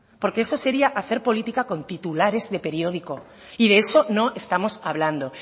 porque eso sería hacer política con titulares de periódico y de eso no estamos hablando